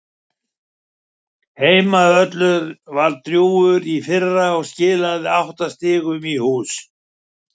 Heimavöllurinn var drjúgur í fyrra og skilaði átta sigrum í hús.